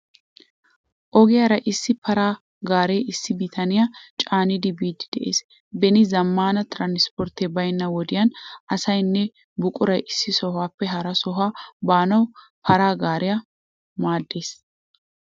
Ogiyaara issi para gaaree issi bitaniyaa caanidi biiddi de'ees. Beni zammana tiranspporttee baynna wodiyan asaynne buquray issi sohuwaappe hara sohuwa baanawu para gaaree maaddees.